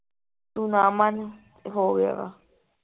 ਤੂੰ ਨਾ ਮੰਨ ਹੋ ਗਿਆ ਵਾ